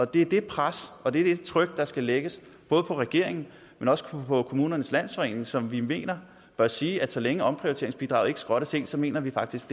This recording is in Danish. det er det pres og det tryk der skal lægges på regeringen men også på kommunernes landsforening som vi mener bør sige at så længe omprioriteringsbidraget ikke skrottes helt mener de faktisk